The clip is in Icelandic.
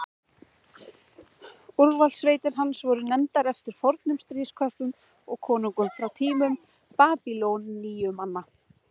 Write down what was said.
Úrvalssveitir hans voru nefndar eftir fornum stríðsköppum og konungum frá tímum Babýloníumanna.